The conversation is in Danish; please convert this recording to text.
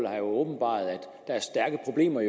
har åbenbaret at der er stærke problemer